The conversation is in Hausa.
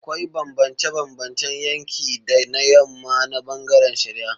Akwai bambance-bambancen yanki da na yamma na bangaren shari'a.